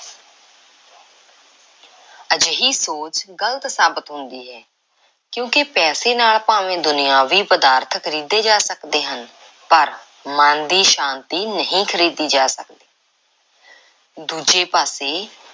ਅਜਿਹੀ ਸੋਚ ਗ਼ਲਤ ਸਾਬਤ ਹੁੰਦੀ ਹੈ ਕਿਉਂਕਿ ਪੈਸੇ ਨਾਲ ਭਾਵੇਂ ਦੁਨਿਆਵੀ ਪਦਾਰਥ ਖਰੀਦੇ ਜਾ ਸਕਦੇ ਹਨ ਪਰ ਮਨ ਦੀ ਸ਼ਾਂਤੀ ਨਹੀਂ ਖ਼ਰੀਦੀ ਜਾ ਸਕਦੀ। ਦੂਜੇ ਪਾਸੇ